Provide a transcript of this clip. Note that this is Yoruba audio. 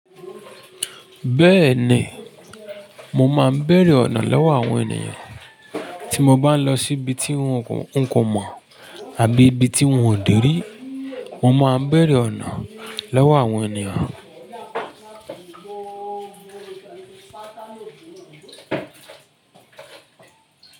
Bẹ́ẹ̀ni, mo máa ń bẹ̀rẹ̀ ọ̀nà lọ́wọ́ àwọn ènìyàn. Ti mo bá n lọ si bi ti hun ko mọ abi ibi ti hun deri mo máa n bere ona lọwọ àwọn èèyàn.